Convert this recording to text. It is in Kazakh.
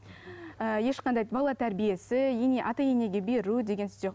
і ешқандай бала тәрбиесі ене ата енеге беру деген